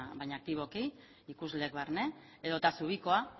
baina aktiboki ikusleek barne edota zubikoa